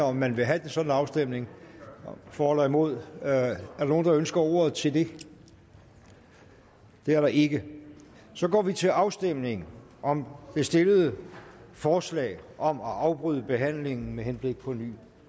om man vil have en sådan afstemning for eller imod er der nogen der ønsker ordet til det det er der ikke så går vi til afstemning om det stillede forslag om at afbryde behandlingen med henblik på en ny